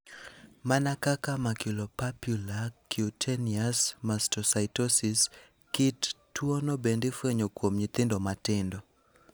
Mana kaka maculopapular cutaneous mastocytosis, kit tuwono bende ifwenyo kuom nyithindo matindo.